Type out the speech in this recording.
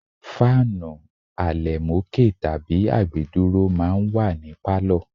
Fáànù àlẹ̀mókè tàbí àgbédúró máa ń wà ní pálọ̀.